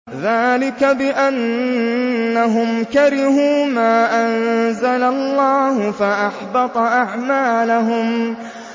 ذَٰلِكَ بِأَنَّهُمْ كَرِهُوا مَا أَنزَلَ اللَّهُ فَأَحْبَطَ أَعْمَالَهُمْ